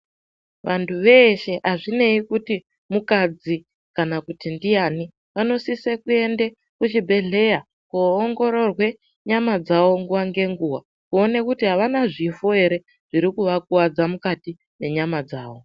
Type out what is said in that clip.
Vanthu veshe azvinei kuti mukadzi kana kuti ndiani vanosise kuenda kuzvibhedhleya koongororwe nyama dzavo nguwa ngenguwa kuona kuti avana zvifo ere zviri kuvakuwadza mukati menyama dzao.